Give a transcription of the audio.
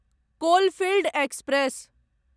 coalfield express